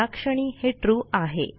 ह्याक्षणी हे ट्रू आहे